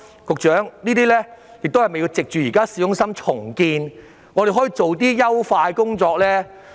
局長，政府是否應藉現時市中心重建，進行一些優化的工作？